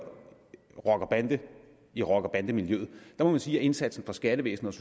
i rocker bande miljøet må sige at indsatsen fra skattevæsenets